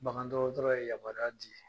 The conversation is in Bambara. Bagantɔgɔtɔrɔ ye yamaruya di .